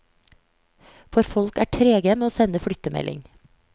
For folk er trege med å sende flyttemelding.